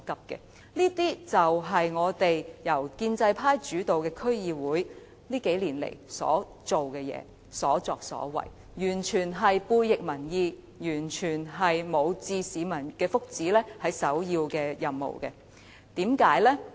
這些都是由建制派主導的區議會近年的所作所為，完全背逆民意，根本不視保護市民福祉為首要任務。